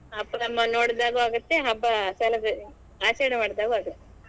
ಅಪ್ಪನ್ ಅಮ್ಮನ್ ನೋಡಿದಾಗು ಆಗತ್ತೆ ಹಬ್ಬ celebration ಆಚರಣೆ ಮಾಡಿದಾಗು ಆಗ್ತದೆ.